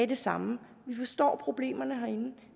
det samme vi forstår problemerne herinde